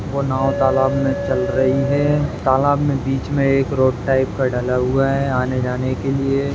वो नाव तालाब मे चल रही है। तालाब मे बीच मे एक रोड टाइप का डाला हुआ है आने जाने के लिए --